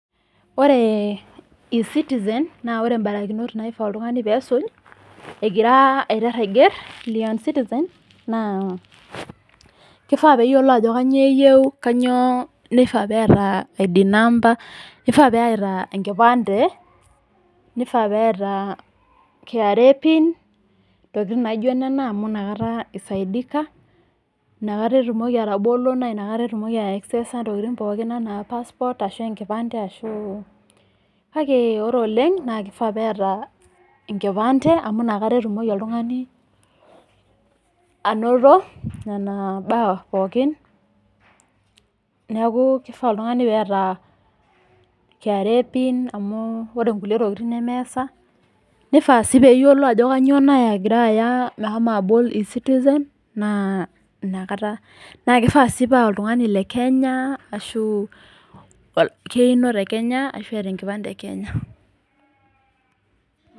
Pre ecitisen, naa ore imbarakinot naagira iltungani asuj egira aiteru aiger le ecitisen, naa keifaa peeyiolo ajo kanyio eyeu, kanyioo neifaa peeta ID number keifaa peeta enkipande, keifaa peeta KRA pin naijo nena amu inakata eisaidika, inakata etumoki atobolo, naa inakata etumoki aiakseesa ntokitin pooki ashu aa paspot ashu enkipande ashu oo, kake ore oleng naa keifaa peeta enkipande amu inakata eltungani anoto nena imbaa pookin naaku keifaa iltungani peeta KRA pin amu ore inkule ntokitin nemeesa neifa sii peeyolo ajo kanyiio naya meshomo agira abol ecitisen inakata, naa keifaa sii paa oltungani le Kenya ashu keino te kenya, ashu eata nkipandeni e Kenya.